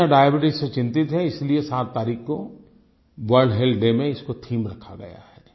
दुनिया डायबीट्स से चिंतित है इसलिए 7 तारीक को वर्ल्ड हेल्थ डे में इसको थीम रखा गया है